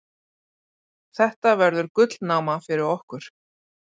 Þetta verður gullnáma fyrir okkur.